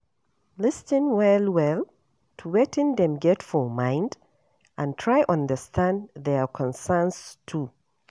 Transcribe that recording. Lis ten well well to wetin dem get for mind and try understand their concerns too